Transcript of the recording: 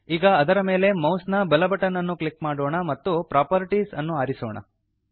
ಈಗ ಅದರ ಮೇಲೆ ಮೌಸ್ ನ ಬಲ ಬಟನ್ ಅನ್ನು ಕ್ಲಿಕ್ ಮಾಡೋಣ ಮತ್ತು ಪ್ರಾಪರ್ಟೀಸ್ ಅನ್ನು ಆರಿಸೋಣ